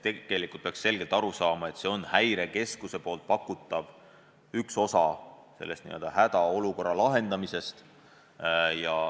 Tegelikult peaks selgelt aru saama, et Häirekeskuse pakutav on üks osa hädaolukorra lahendamisest.